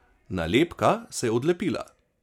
Nalepka se je odlepila.